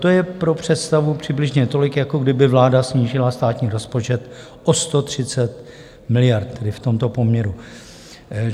To je pro představu přibližně tolik, jako kdyby vláda snížila státní rozpočet o 130 miliard, tedy v tomto poměru.